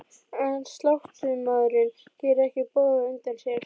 En sláttumaðurinn gerir ekki boð á undan sér.